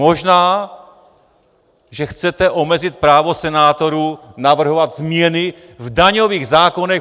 Možná, že chcete omezit právo senátorů navrhovat změny v daňových zákonech.